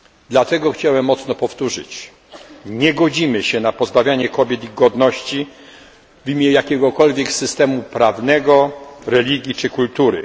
Dlatego chciałbym jeszcze raz powtórzyć nie godzimy się na pozbawianie kobiet ich godności w imię jakiegokolwiek systemu prawnego, religii czy kultury.